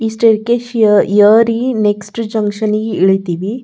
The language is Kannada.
ಈ ಸ್ಟೈರ್ಕ್ಸೇ ಯ ಯರಿ ನೆಕ್ಸ್ಟ್ ಜಕ್ಷನ್ ಗೆ ಇಳಿತ್ತಿವಿ.